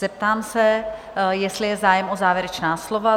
Zeptám se, jestli je zájem o závěrečná slova?